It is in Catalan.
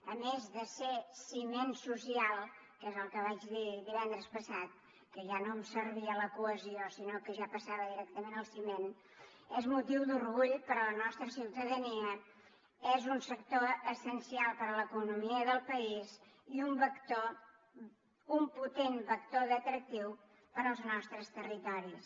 a més de ser ciment social que és el que vaig dir divendres passat que ja no em servia la cohesió sinó que ja passava directament al ciment és motiu d’orgull per a la nostra ciutadania és un sector essencial per a l’economia del país i un vector un potent vector d’atractiu per als nostres territoris